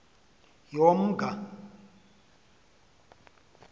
yomnga